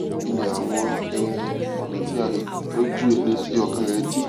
kí ni àwọn um ọnà tí a lè gbà tọjú ẹni tí ọkàn rẹ dí